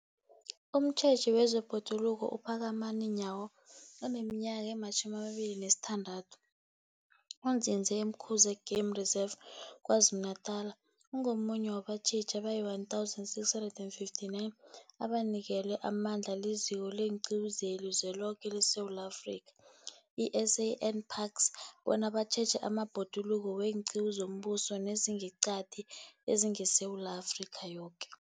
Umtjheji wezeBhoduluko uPhakamani Nyawo oneminyaka ema-26, onzinze e-Umkhuze Game Reserve KwaZulu-Natala, ungomunye wabatjheji abayi-1 659 abanikelwe amandla liZiko leenQiwu zeliZweloke leSewula Afrika, i-SANParks, bona batjheje amabhoduluko weenqiwu zombuso nezangeqadi ezingeSewula Afrika yoke.